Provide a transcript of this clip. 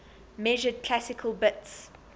measured classical bits